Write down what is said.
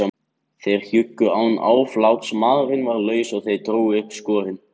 Þeir hjuggu án afláts, maðurinn varð laus og þeir drógu upp skrokkinn.